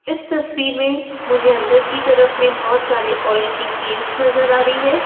इस तस्वीर में मुझे अंदर की तरफ में बहुत सारे ऑयल की केंस नजर आ रही है।